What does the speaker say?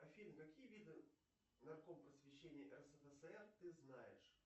афина какие виды нарком просвещения рсфср ты знаешь